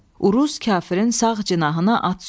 Uruz kafirin sağ cinahına at sürdü.